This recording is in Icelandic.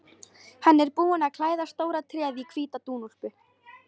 Hann er búinn að klæða stóra tréð í hvíta dúnúlpu.